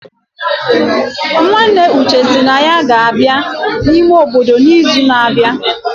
Nwanne Uche sị na ya ga-abịa n'ime obodo n'izu na-abịa